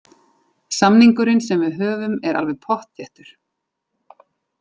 Samningurinn sem við höfum er alveg pottþéttur.